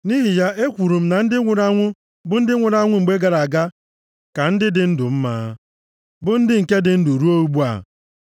Nʼihi ya, ekwuru m, na ndị nwụrụ anwụ, bụ ndị nwụrụ anwụ mgbe gara aga, ka ndị dị ndụ mma, bụ ndị nke dị ndụ ruo ugbu a.